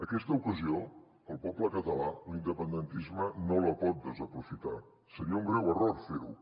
aquesta ocasió el poble català l’independentisme no la pot desaprofitar seria un greu error fer ho